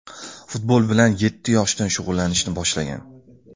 Futbol bilan yetti yoshidan shug‘ullanishni boshlagan.